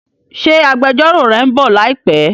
Ṣé agbẹjọ́rò rẹ ń bọ̀ láìpé?